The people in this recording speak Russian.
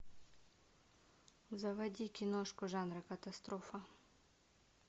заводи киношку жанра катастрофа